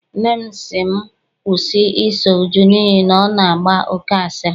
Nne m sị m kwụsị I so Uju n'ihi na ọ na-agba oke asịrị.